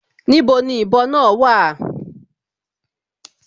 Níbo ni ìbọ náà wà?